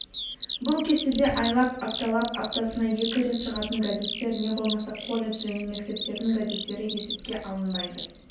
бұл кестеде айлап апталап аптасына екі рет шығатын газеттер не болмаса колледж және мектептердің газеттері есепке алынбайды